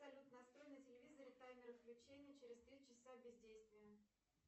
салют настрой на телевизоре таймер выключения через три часа бездействия